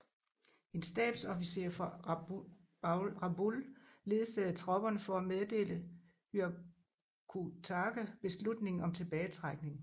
En stabsofficer fra Rabaul ledsagede tropperne for at meddele Hyakutake beslutningen om tilbagetrækning